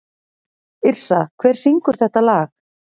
Yrsa, hver syngur þetta lag?